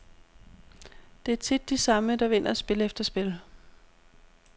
Det er tit de samme, der vinder spil efter spil.